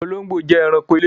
Olongbo jẹ́ èránkò ilẹ̀.